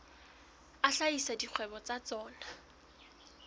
a hlahisa dikgwebo tsa tsona